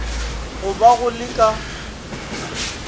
go ba go le ka